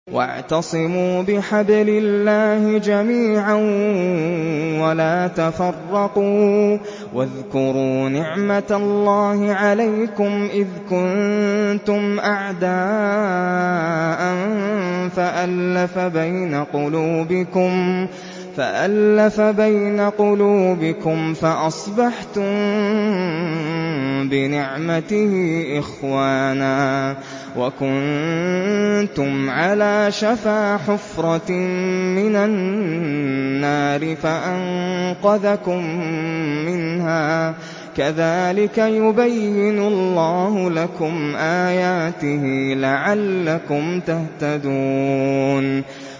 وَاعْتَصِمُوا بِحَبْلِ اللَّهِ جَمِيعًا وَلَا تَفَرَّقُوا ۚ وَاذْكُرُوا نِعْمَتَ اللَّهِ عَلَيْكُمْ إِذْ كُنتُمْ أَعْدَاءً فَأَلَّفَ بَيْنَ قُلُوبِكُمْ فَأَصْبَحْتُم بِنِعْمَتِهِ إِخْوَانًا وَكُنتُمْ عَلَىٰ شَفَا حُفْرَةٍ مِّنَ النَّارِ فَأَنقَذَكُم مِّنْهَا ۗ كَذَٰلِكَ يُبَيِّنُ اللَّهُ لَكُمْ آيَاتِهِ لَعَلَّكُمْ تَهْتَدُونَ